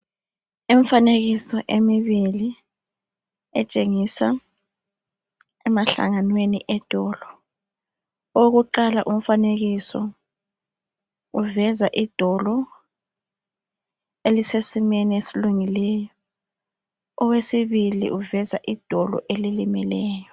Imfanekiso emibili etshengisa emahlanganweni edolo owokuqala umfanekiso uveza idolo elisesimeni esilungileyo owesibili uveza idolo elilimeleyo.